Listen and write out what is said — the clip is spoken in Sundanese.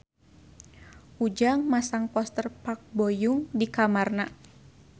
Ujang masang poster Park Bo Yung di kamarna